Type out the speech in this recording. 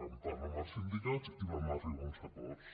vam parlar amb els sindicats i vam arribar a uns acords